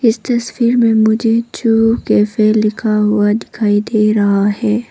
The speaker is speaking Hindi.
इस तस्वीर में मुझे चू कैफे लिखा हुआ दिखाई दे रहा है।